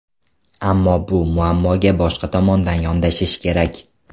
Ammo bu muammoga boshqa tomondan yondashish kerak.